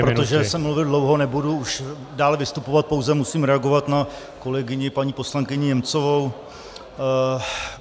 Protože jsem mluvil dlouho, nebudu už dále vystupovat, pouze musím reagovat na kolegyni paní poslankyni Němcovou.